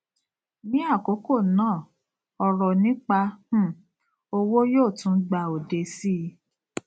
ní àkókò náà ọrọ nípa um owó yóò tún gba òde síi